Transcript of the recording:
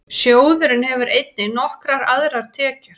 Sjóðurinn hefur einnig nokkrar aðrar tekjur.